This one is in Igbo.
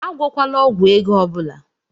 Agwọkwala ọgwụ ego ọ bụla!